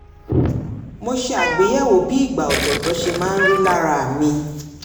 mo ṣe àgbéyẹ̀wò bí ìgbà ọ̀tọ̀ọ̀tọ̀ se máa ń rí lára mi í